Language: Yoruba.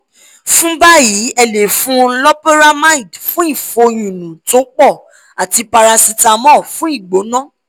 fún báyìí ẹ lè fún un loperamide fún ìfòyúnú tó pọ̀ àti paracetamol fún igbona